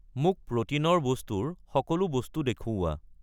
মোক প্ৰটিনৰ বস্তু ৰ সকলো বস্তু দেখুওৱা।